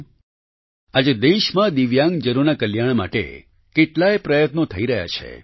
સાથીઓ આજે દેશમાં દિવ્યાંગજનોના કલ્યાણ માટે કેટલાય પ્રયત્નો થઈ રહ્યા છે